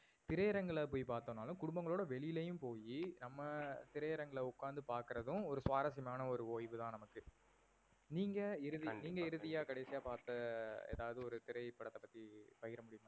திரை அரங்குகள்ல போய் பார்த்தோம் நாளும் குடும்பங்களோட வெளிலையும் போயி, நம்ப திரை அரங்குகல்ல ஒக்காந்து பாக்குறதும் ஒரு சுவாரசியமான ஒரு ஓய்வு தான் நமக்கு. நீங்க இறுதியா கண்டிப்பா கண்டிப்பா நீங்க இறுதியா கடைசியா பார்த்த எதாவது ஒரு திரைபடத்த பத்தி பகிரமுடியுமா?